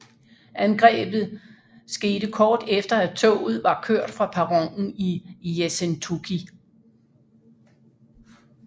Angrebet sket kort efter at toget var kørt fra perronen i Yessentuki